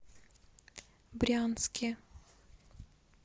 брянске